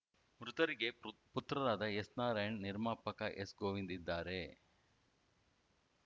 ಮೃತರಿಗೆ ಪುತ್ರರಾದ ಎಸ್‌ನಾರಾಯಣ್‌ ನಿರ್ಮಾಪಕ ಎಸ್‌ಗೋವಿಂದ್‌ ಇದ್ದಾರೆ